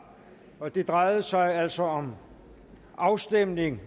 og det drejer sig altså om afstemningen